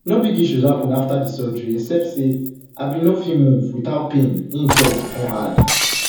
no big issues happun afta di surgery except say i bin no fit move without pain im tok come come add